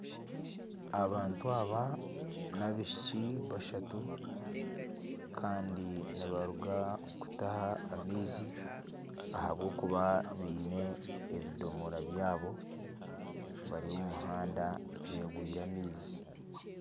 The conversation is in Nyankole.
Abantu aba n'abaishiki bashatu kandi nibaruga kutaha amaizi ahabw'okuba baine ebidomora byabo bari omu muhanda beegwire amaizi.